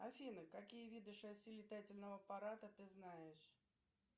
афина какие виды шасси летательного аппарата ты знаешь